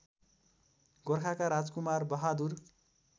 गोर्खाका Rajkumar Bahadur